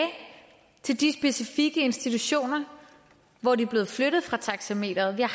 til de specifikke institutioner hvor de er blevet flyttet fra taxameteret vi